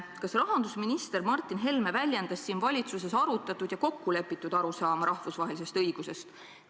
" Kas rahandusminister Martin Helme väljendas siin valitsuses arutatud ja kokkulepitud arusaama rahvusvahelisest õigusest?